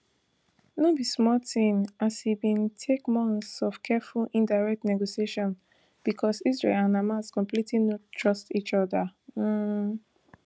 no be small tin as e bin take months of careful indirect negotiations becos israel and hamas completely no trust each oda um